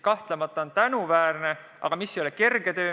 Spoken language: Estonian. Kahtlemata on see tänuväärne, aga üldse mitte kerge töö.